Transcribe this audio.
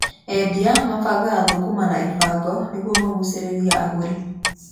Endia mabangaga thũkũma na ibango nĩguo magucĩrĩrie agũri.